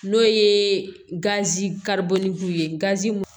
N'o ye gazi kariku ye